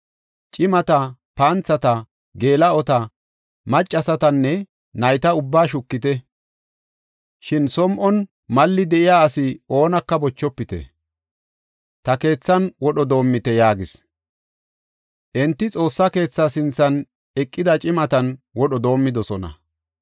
Cimata, panthata, geela7ota, maccasatanne nayta ubbaa shukite; shin som7on malli de7iya ase oonaka bochofite. Ta keethan wodho doomite” yaagis. Enti Xoossaa keetha sinthan eqida cimatan wodho doomidosona.